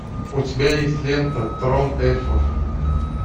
у тебя есть лента трон эльфов